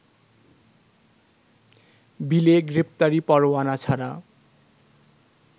বিলে গ্রেপ্তারি পরোয়ানা ছাড়া